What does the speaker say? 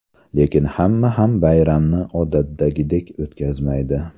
Lekin hamma ham bayramni odatdagidek o‘tkazmaydi.